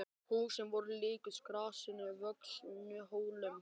Húsin voru líkust grasi vöxnum hólum.